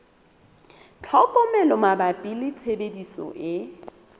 tlhokomelo mabapi le tshebediso e